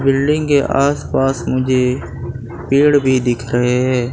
Building के आसपास मुझे पेड़ भी दिख रहे है।